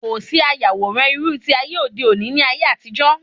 Kòsí ayàwòrán irú ti ayé òde òni ní ayé àtijó